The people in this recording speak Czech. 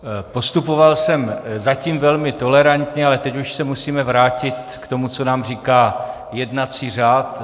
Postupoval jsem zatím velmi tolerantně, ale teď už se musíme vrátit k tomu, co nám říká jednací řád.